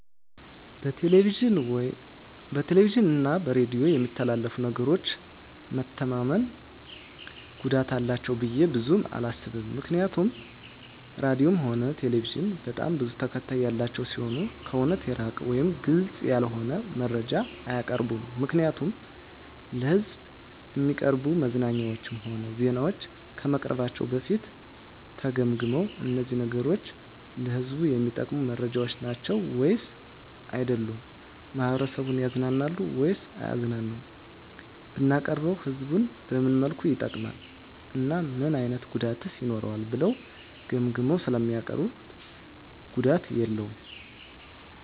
በቴሌቪዥን እና በሬዲዮ በሚተላለፉ ነገሮች መተማመን ጉዳት አላቸው ብዬ ብዙም አላስብም ምክንያቱም ራድዮም ሆነ ቴሌቪዥን በጣም ብዙ ተከታታይ ያላቸው ሲሆኑ ከእውነት የራቀ ወይም ግልፅ ያልሆነ መረጃ አያቀርቡም ምክንያቱም ለሕዝብ እሚቀርቡ መዝናኛዎችም ሆነ ዜናዎች ከመቅረባቸው በፊት ተገምግመው እነዚህ ነገሮች ለህዝቡ እሚጠቅሙ መረጃዎች ናቸው ወይስ አይደሉም፣ ማህበረሰቡን ያዝናናሉ ወይስ አያዝናኑም፣ ብናቀርበውስ ህዝቡን በምን መልኩ ይጠቅማል እና ምን አይነት ጉዳትስ ይኖረዋል ብለው ገምግመው ስለሚያቀርቡት ጉዳት የለውም።